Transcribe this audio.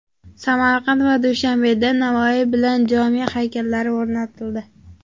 Samarqand va Dushanbeda Navoiy bilan Jomiy haykallari o‘rnatildi.